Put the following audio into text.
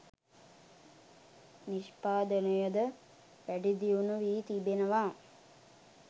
නිෂ්පාදනයද වැඩිදියුණු වී තිබෙනවා.